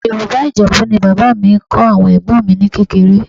Yorùbá Ìjẹ̀bú ni bàbá mi kọ́ àwọn ẹ̀gbọ́n mi ní kékeré